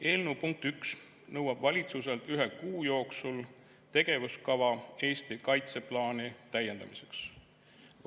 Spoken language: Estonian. Eelnõu punkt 1 nõuab valitsuselt ühe kuu jooksul tegevuskava Eesti kaitseplaani täiendamiseks.